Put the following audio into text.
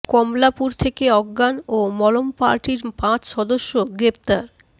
কমলাপুর থেকে অজ্ঞান ও মলম পার্টির পাঁচ সদস্য গ্রেপ্তার